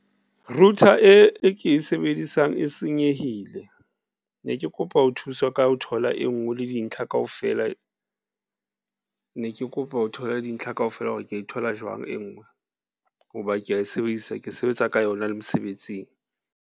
Router e ke e sebedisang e senyehile. Ne ke kopa ho thuswa ka ho thola e nngwe le dintlha kaofela ne ke kopa ho thola dintlha kaofela hore ke e thola jwang e nngwe hoba kea e sebedisa, ke sebetsa ka yona le mosebetsing.